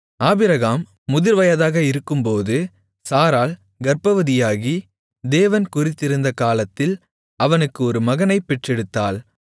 Abraham முதிர்வயதாக இருக்கும்போது சாராள் கர்ப்பவதியாகி தேவன் குறித்திருந்த காலத்தில் அவனுக்கு ஒரு மகனைப் பெற்றெடுத்தாள்